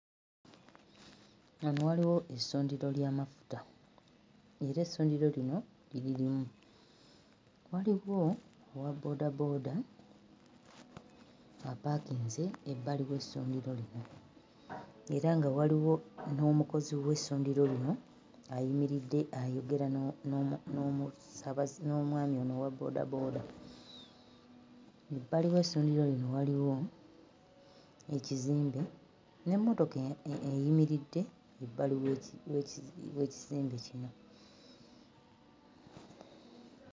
Wano waliwo essundiro ly'amafuta ng'era essundiro lino liri limu. Waliwo owa bboodabooda apaakinze ebbali w'essundiro lino. Era nga waliwo n'omukozi w'essundiro lino ayimiridde ayogera n'omu n'omusaabaze n'omwami ono owa bboodabooda. Ebbali w'essundiro lino waliwo ekizimbe, n'emmotoka eyimiridde ebbali we w'ekizimbe kino.